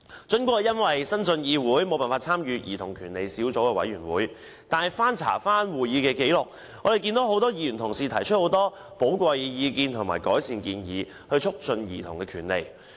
儘管我因為剛剛晉身議會，無法參與加入小組委員會，但翻查會議紀錄，我看到很多議員曾提出寶貴意見和改善建議，以促進兒童權利。